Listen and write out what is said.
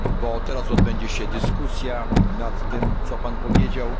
A teraz odbędzie się dyskusja nad tym, co Pan powiedział.